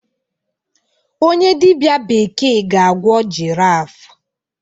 onye dibịa bekee ga-agwọ giraffe